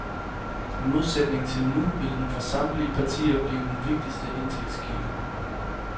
I modsætning til nu vil den for samtlige partier blive den vigtigste indtægtskilde.